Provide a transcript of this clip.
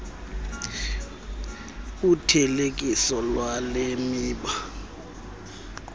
uthelekiso lwale miba